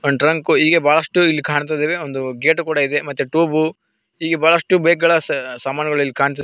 one trunk ಹೀಗೆ ಬಹಳಷ್ಟು ಇಲ್ಲಿ ಕಾಣ್ತದಿದೆ ಒಂದು ಗೇಟ್ ಕೂಡ ಇದೆ ಮತ್ತೆ ಟೂಬು ಹೀಗೆ ಬಹಳಷ್ಟು ಬೈಕ್ಗಳ ಸಾಮಾನುಗಳು ಇಲ್ ಕಾಣ್ತದ್ --